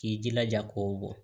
K'i jilaja k'o bɔ